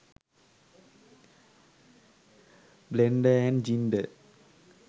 blender & ginder